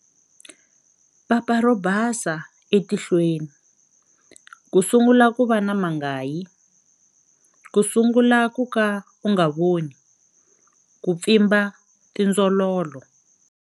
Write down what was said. Papa ro basa etihlweni, ku sungula ku va na mangayi, ku sungula ku ka u nga voni, ku pfimba tindzololo.